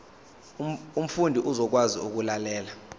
umfundi uzokwazi ukulalela